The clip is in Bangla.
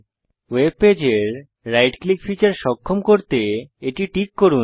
ওয়েবপেজের রাইট ক্লিক ফীচার সক্ষম করতে এটি টিক করুন